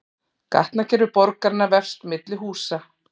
Gatnakerfi borgarinnar vefst milli húsa